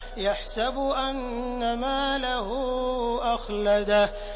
يَحْسَبُ أَنَّ مَالَهُ أَخْلَدَهُ